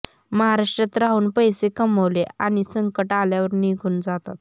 महाराष्ट्रात राहून पैसे कमवले आणि संकट आल्यावर निघून जातात